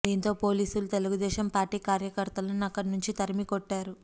దీంతో పోలీసులు తెలుగుదేశం పార్టీ కార్యకర్తలను అక్కడి నుంచి తరిమి కొట్టారు